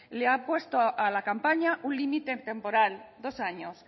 le ha puesto a la campaña un límite temporal dos años